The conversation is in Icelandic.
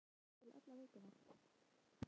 Hann hafi hlakkað til alla vikuna.